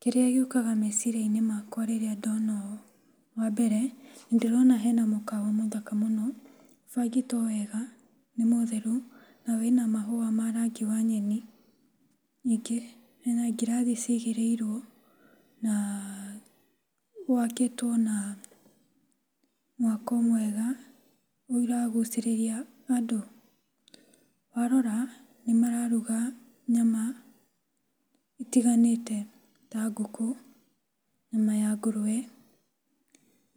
Kĩrĩa gĩũkaga meciria-inĩ makwa rĩrĩa ndona ũũ, wa mbere nĩ ndĩrona hena mũkawa mũthaka mũno, ũbangĩtwo wega, nĩ mũtheru na wĩna mahũa ma rangi wa nyeni. Ningĩ, hena ngirathi cigĩrĩirwo na wakĩtwo na mwako mwega ũragucĩrĩria andũ. Warora, nĩ mararuga nyama itiganĩte ta ngũkũ, nyama ya ngũrũwe